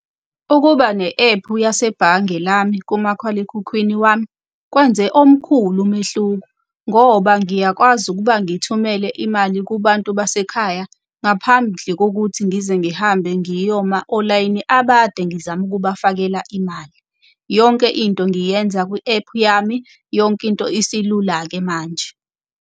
Ukuba ne-ephu yasebhange lami kumakhalekhukhwini wami kwenze omkhulu umehluko, ngoba ngiyakwazi ukuba ngithumele imali kubantu basekhaya ngaphandle kokuthi ngize ngihambe ngiyoma olayini abade ngizama ukubafakela imali. Yonke into ngiyenza kwi-ephu yami, yonke into isilula-ke manje.